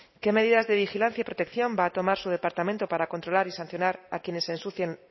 qué medidas de vigilancia y protección va a tomar su departamento para controlar y sancionar a quienes ensucian